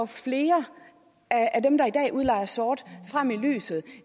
flere af dem der i dag udlejer sort frem i lyset